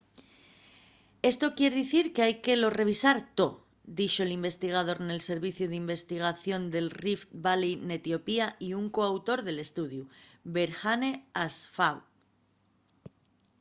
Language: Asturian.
esto quier dicir qu’hai que lo revisar too” dixo l’investigador nel serviciu d’investigación de rift valley n’etiopía y un co-autor del estudiu berhane asfaw